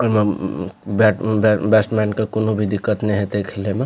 ओय मे उम्म बैट बैट्समैन के कोनो भी दिक्कत ने होएते खेले मे --